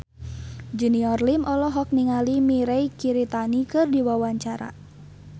Junior Liem olohok ningali Mirei Kiritani keur diwawancara